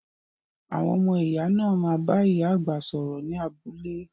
Àwọn ọmọ iya náà má bá ìyá àgbà sọ̀rọ̀ ni abúlé